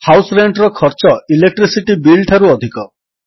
house Rentର ଖର୍ଚ୍ଚ electricity Billଠାରୁ ଅଧିକ